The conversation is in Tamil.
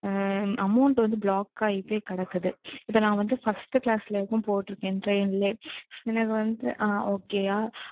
amount வந்து block ஆயிட்டே கெடக்குது. இத நான் வந்து first class ல வரைக்கும் போட்ருக்கேன் train லயே. எனக்கு வந்து okay யா?